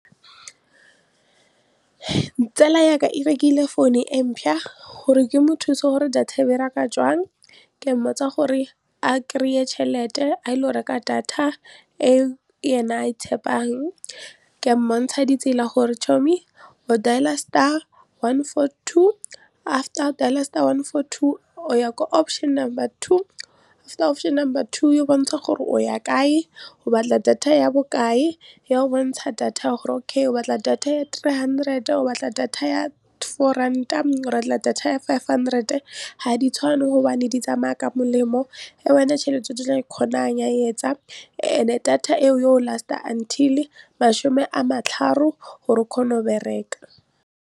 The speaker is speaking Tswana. Tsala yaka e rekile phone e gore ke mo thuse gore data e bereka jwang ke mmotsa gore a kry-e tšhelete a ilo go reka data e yena a e tshepang, ka mmontsha ditsela gore o dail-a star one four two after o dail-a star one four two o ya ko option number two after option number two e go bontsha gore o ya kae, o batla data ya bokae ya go bontsha data gore okay o batla data ya three hundred o batla data ya four rand-a o batla data ya five hundred ga di tshwane hobane di tsamaya ka molemo e wena tšhelete o tlo e kgonang ya etsa and-e data e o yo last-a until masome a gore o kgone go bereka.